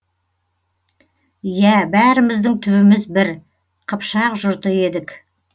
иә бәріміздің түбіміз бір қыпшақ жұрты едік